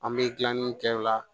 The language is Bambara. An bɛ tilalen kɛ o la